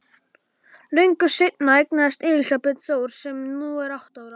Löngu seinna eignaðist Elísabet Þór sem nú er átta ára.